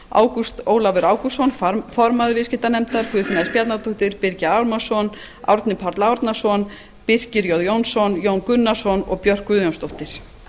ágúst ólafur ágústsson formaður viðskiptanefndar guðfinna s bjarnadóttir birgir ármannsson árni páll árnason birkir jón jónsson jón gunnarsson og björk guðjónsdóttir